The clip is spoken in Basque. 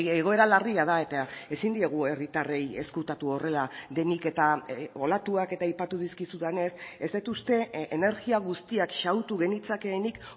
egoera larria da eta ezin diegu herritarrei ezkutatu horrela denik eta olatuak eta aipatu dizkizudanez ez dut uste energia guztiak xahutu genitzakeenik